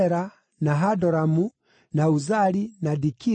na Hadoramu, na Uzali, na Dikila,